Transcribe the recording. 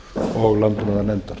og landbúnaðarnefndar